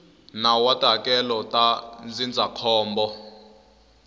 nawu wa tihakelo ta ndzindzakhombo